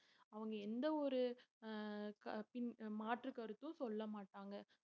அவங்க எந்த ஒரு ஆஹ் க~ பின் மாற்றுக் கருத்தும் சொல்ல மாட்டாங்க